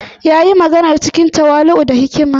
Ya yi maganar cikin tawali’u da hikima.